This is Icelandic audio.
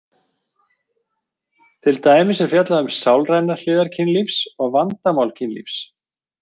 Til dæmis er fjallað um sálrænar hliðar kynlífs og vandamál kynlífs.